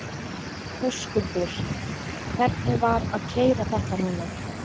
Höskuldur: Hvernig var að keyra þetta núna?